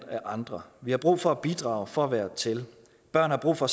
af andre vi har brug for at bidrage for at være til børn har brug for